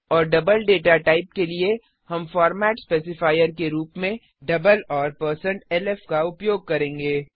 और double data type के लिए हम फॉरमेट स्पेसिफायर के रूप में डबल और160lf का उपयोग करेंगे